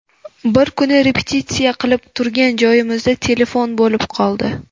Bir kuni repetitsiya qilib turgan joyimizda telefon bo‘lib qoldi.